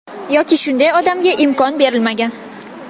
Yoki shunday odamga imkon berilmagan.